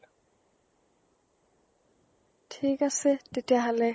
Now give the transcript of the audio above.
ঠিক আছে তেতিয়া হ'লে